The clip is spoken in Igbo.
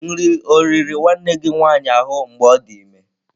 Nri ọ i riri nwanne gị nwanyị ahụ mgbe ọ dị ime?